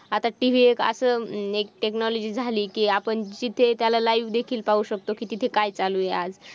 आत्ता TV एक असं एक technology झाली की आपण जिथे त्याला live देखील पाहू शकतो तिथे काय चालू आहे आज.